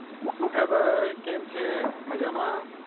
શું ખબર કેમ છો મજામાં?